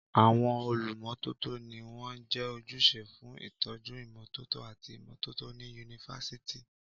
Àwọn olùmọ́tótó ni wọ́n jẹ́ ojúṣe fún ìtọ́jú ìmọ́tótó àti ìmọ́tótó ní Yunifásítì.